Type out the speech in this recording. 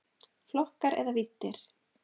Flokkar eða víddir